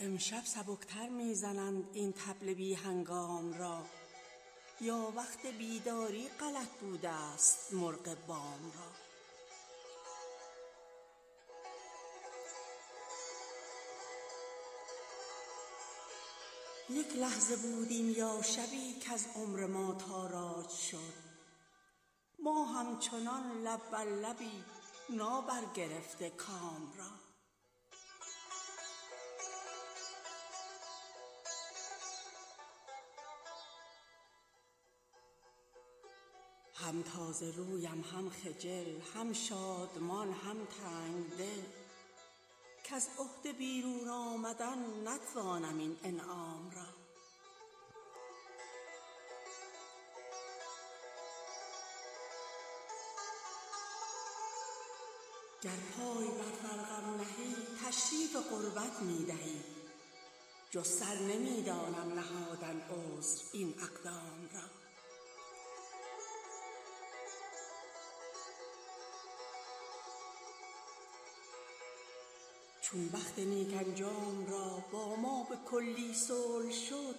امشب سبک تر می زنند این طبل بی هنگام را یا وقت بیداری غلط بودست مرغ بام را یک لحظه بود این یا شبی کز عمر ما تاراج شد ما همچنان لب بر لبی نابرگرفته کام را هم تازه رویم هم خجل هم شادمان هم تنگ دل کز عهده بیرون آمدن نتوانم این انعام را گر پای بر فرقم نهی تشریف قربت می دهی جز سر نمی دانم نهادن عذر این اقدام را چون بخت نیک انجام را با ما به کلی صلح شد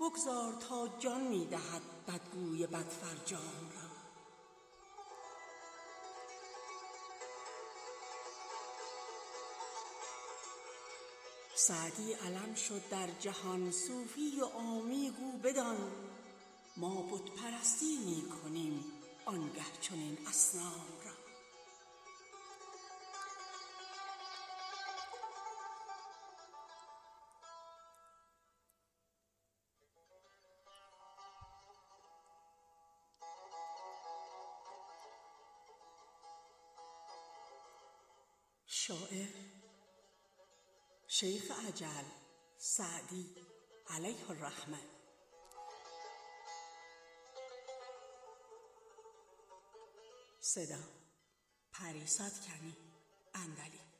بگذار تا جان می دهد بدگوی بدفرجام را سعدی علم شد در جهان صوفی و عامی گو بدان ما بت پرستی می کنیم آن گه چنین اصنام را